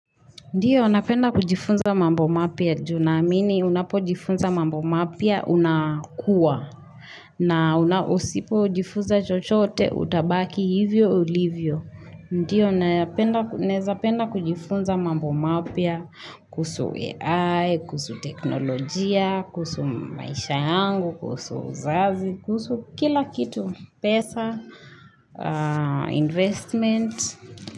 Ndiyo, napenda kujifunza mambo mapya juu naamini unapojifunza mambo mapya unakuwa. Na usipojifunza chochote utabaki hivyo ulivyo. Ndiyo, naeza penda kujifunza mambo mapya kuhusu AI, kuhusu teknolojia, kuhusu maisha yangu, kuhusu uzazi, kuhusu kila kitu, pesa, investment,